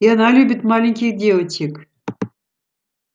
и она любит маленьких девочек